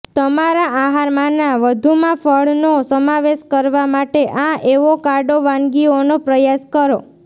તમારા આહારમાંના વધુમાં ફળનો સમાવેશ કરવા માટે આ એવોકાડો વાનગીઓનો પ્રયાસ કરો